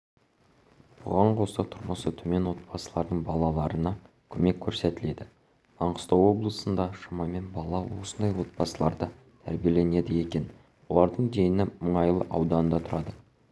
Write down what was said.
бұған қоса тұрмысы төмен отбасылардың балаларына көмек көрсетіледі маңғыстау облысында шамамен бала осындай отбасыларда тәрбиеленеді екен олардың дені мұнайлы ауданында тұрады